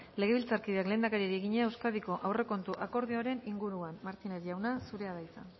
legebiltzarkideak lehendakariari egina euskadiko aurrekontu akordioaren inguruan martínez jauna zurea da hitza